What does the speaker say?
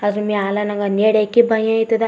ಅದ್ರ ಮ್ಯಾಲ್ ನಂಗೆ ನಡೆಕ್ ಭಯ ಆಯ್ತದ್.